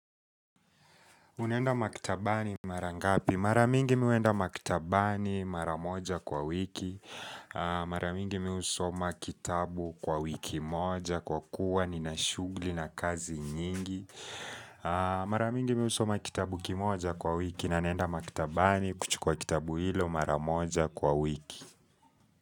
Unaenda maktabani mara ngapi? Mara mingi mi huenda maktabani mara moja kwa wiki. Mara mingi mi husoma kitabu kwa wiki moja kwa kuwa nina shughuli na kazi nyingi. Mara mingi mi husoma kitabu kimoja kwa wiki na naenda maktabani kuchukua kitabu hilo mara moja kwa wiki.